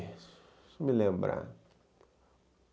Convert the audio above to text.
Deixa eu me lembrar.